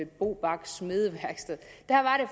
bobach smedeværksted